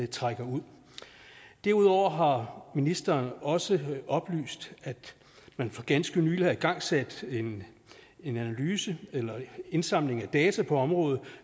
trækker ud derudover har ministeren også oplyst at man for ganske nylig har igangsat en analyse eller en indsamling af data på området